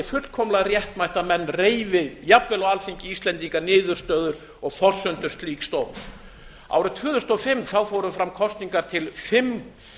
fullkomlega réttmætt að menn reifi jafnvel á alþingi íslendinga niðurstöður og forsendur slíks dóms árið tvö þúsund og fimm fóru fram kosningar til fimm